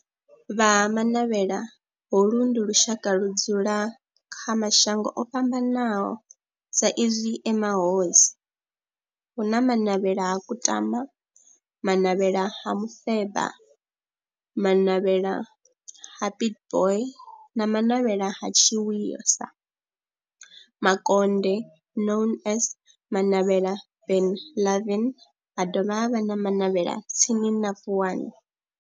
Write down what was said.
Vha Ha-Manavhela, holu ndi lushaka ludzula kha mashango ofhambanaho sa izwi e mahosi, hu na Manavhela ha Kutama, Manavhela ha Mufeba, Manavhela ha Pietboi na Manavhela ha Tshiwisa Mukonde known as Manavhela Benlavin, ha dovha havha na Manavhela tsini na Vuwani.